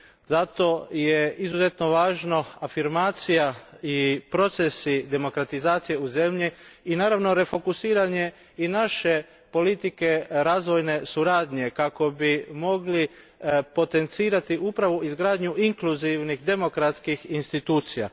Zato su izuzetno važni afirmacija i procesi demokratizacije u zemlji, i naravno refokusiranje i naše politike razvojne suradnje kako bi mogli potencirati upravo izgradnju inkluzivnih demokratskih institucija.